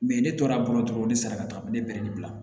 ne tora bolo dɔrɔn ne sara ka taa ne bɛ ne bila